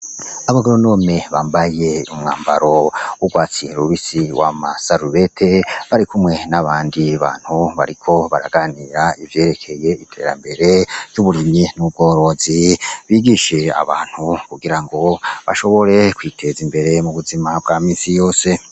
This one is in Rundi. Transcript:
Abagoronome bambaye umwambaro w'urwatsi rubisi wama sarubete bari kumwe n'abandi bantu bariko baraganira ivyerekeye iterambere ry'uburimyi n'ubworozi bigishe abantu ku girango bashobore kwiteza imbere mu buzima bwa minsi yose.